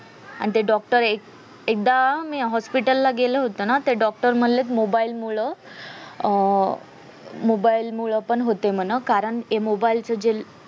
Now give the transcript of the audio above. आन ते doctor एक एकदा hospital ला गेला होतो ना ते doctor म्हणलेत mobile मूळ अं mobile मूळ पण होतेय मन कारण mobile चे जे